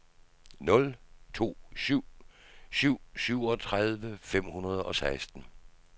nul to syv syv syvogtredive fem hundrede og seksten